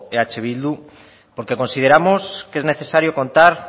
eh bildu porque consideramos que es necesario contar